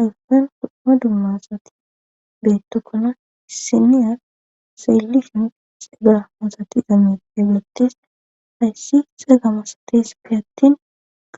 Hassan dumma dummaasati beettokkona issiniyar seelihimi xeega masati zaame deeblattes hayssi xeega masates fi attin